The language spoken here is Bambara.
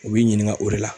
U b'i ɲininka o de la